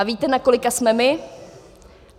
A víte, na kolika jsme my?